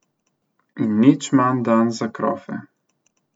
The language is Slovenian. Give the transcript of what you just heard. In nič manj dan za krofe.